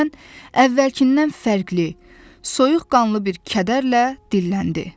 Birdən əvvəlkindən fərqli, soyuqqanlı bir kədərlə dilləndi.